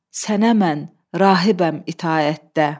Sənə mən rahibəm itaətdə.